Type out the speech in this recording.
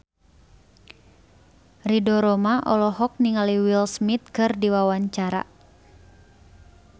Ridho Roma olohok ningali Will Smith keur diwawancara